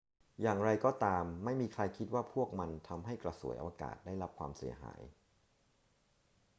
อย่างไรก็ตาม ไม่มีใครคิดว่าพวกมันทำให้กระสวยอวกาศได้รับความเสียหาย